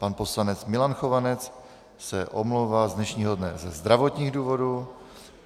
Pan poslanec Milan Chovanec se omlouvá z dnešního dne ze zdravotních důvodů.